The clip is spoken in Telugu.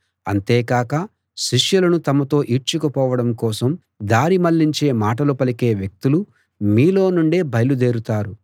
అంతేకాక శిష్యులను తమతో ఈడ్చుకుపోవడం కోసం దారి మళ్ళించే మాటలు పలికే వ్యక్తులు మీలో నుండే బయలుదేరుతారు